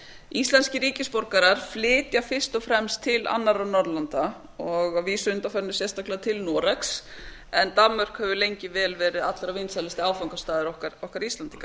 íslenskir ríkisborgarar flytja fyrst og fremst til annarra norðurlandanna að vísu að undanförnu sérstaklega til noregs en danmörk hefur lengi vel verið allra vinsælasti áfangastaður okkar íslendinga